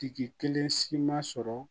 Tigi kelen si ma sɔrɔ